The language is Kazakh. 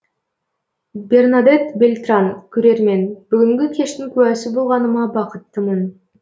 бернадетт бельтран көрермен бүгінгі кештің куәсі болғаныма бақыттымын